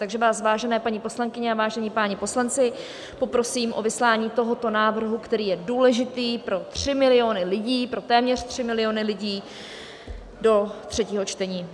Takže vás, vážené paní poslankyně a vážení páni poslanci, poprosím o vyslání tohoto návrhu, který je důležitý pro tři miliony lidí, pro téměř tři miliony lidí, do třetího čtení.